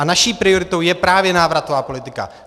A naší prioritou je právě návratová politika.